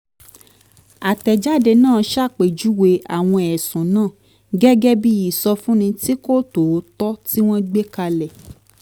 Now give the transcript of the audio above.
àtẹ̀jáde náà ṣàpèjúwe àwọn ẹ̀sùn náà gẹ́gẹ́ bí ìsọfúnni tí kò tòótọ́ tí wọ́n gbé kalẹ̀